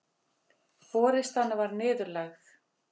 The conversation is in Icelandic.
Forystan var niðurlægð